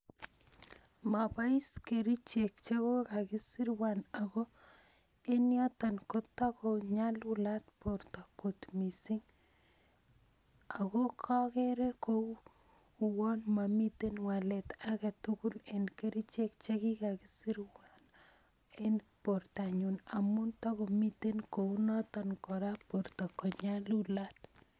Mabois kerichek chekokasirwan ak enyoton kotakonyalulat bortoo kot missing okoo ko keree komomiten wallet agetugul eng kerichek chekikasirwan eng bortanyun amun tokomiten kora kounoton borto konyalulat